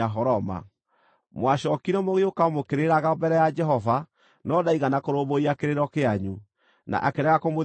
Mwacookire mũgĩũka mũkĩrĩraga mbere ya Jehova, no ndaigana kũrũmbũiya kĩrĩro kĩanyu, na akĩrega kũmũthikĩrĩria.